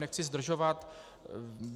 Nechci zdržovat.